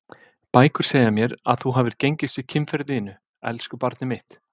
Bækur segja mér að þú hafir gengist við kynferði þínu, elsku barnið mitt.